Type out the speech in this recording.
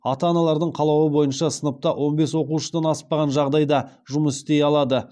ата аналардың қалауы бойынша сыныпта он бес оқушыдан аспаған жағдайда жұмыс істей алады